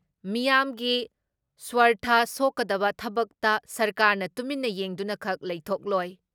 ꯃꯤꯌꯥꯝꯒꯤ ꯁ꯭ꯋꯥꯔꯊ ꯁꯣꯛꯀꯗꯕ ꯊꯕꯛꯇ ꯁꯔꯀꯥꯔꯅ ꯇꯨꯃꯤꯟꯅ ꯌꯦꯡꯗꯨꯅ ꯈꯛ ꯂꯩꯊꯣꯛꯂꯣꯏ ꯫